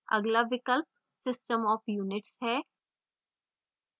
अगला विकल्प system of units है